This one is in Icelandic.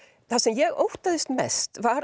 það sem ég óttaðist mest var